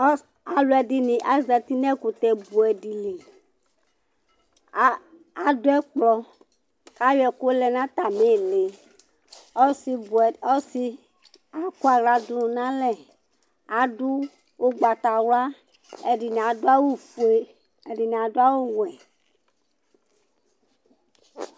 Aluɛdini azati nu ɛkutɛ buɛ di li, adù ɛkplɔ k'ayɔ ɛku yɔ lɛ nu atamì ĩli, ɔsi buɛ ,ɔsi akɔ aɣla du n'alɛ adu ugbatawla ɛdi nì adu awù fué, ɛdi nì adu awu wɛ